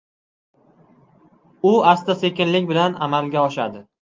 U asta-sekinlik bilan amalga oshadi.